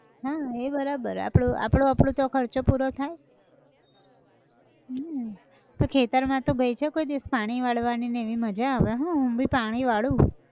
હા એ બરાબર આપનો આપડો આપડો તો ખર્ચો પૂરો થાય, હૈંઇન, તો ખેતર માં તો બેસો કોઈ દિવસ પાણી વાળવાની ને એવી મજા આવે હા હું બી પાણી વાળું